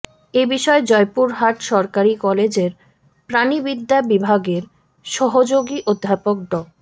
এ বিষয়ে জয়পুরহাট সরকারি কলেজের প্রাণিবিদ্যা বিভাগের সহযোগী অধ্যাপক ড